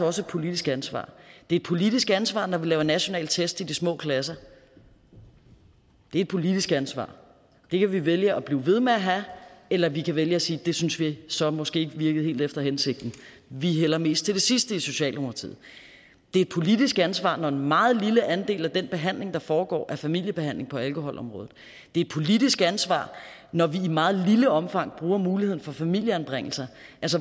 også et politisk ansvar det er et politisk ansvar når vi laver nationale test i de små klasser det er et politisk ansvar det kan vi vælge at blive ved med at have eller vi kan vælge at sige at det synes vi så måske ikke virkede helt efter hensigten vi hælder mest til det sidste i socialdemokratiet det er et politisk ansvar når en meget lille del af den behandling der foregår er familiebehandling på alkoholområdet det er et politisk ansvar når vi i meget lille omfang bruger muligheden for familieanbringelser